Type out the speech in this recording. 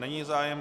Není zájem.